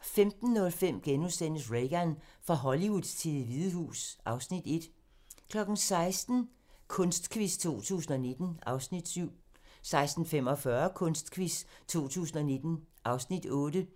15:05: Reagan - fra Hollywood til Det Hvide Hus (Afs. 1)* 16:00: Kunstquiz 2019 (Afs. 7) 16:45: Kunstquiz 2019 (Afs. 8)